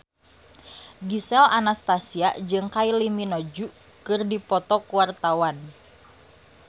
Gisel Anastasia jeung Kylie Minogue keur dipoto ku wartawan